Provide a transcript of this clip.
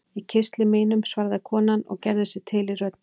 Í kistli mínum, svaraði konan og gerði sig til í röddinni.